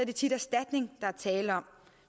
det tit erstatning der er tale om